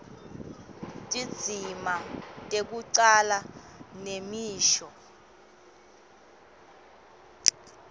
tindzima tekucala nemisho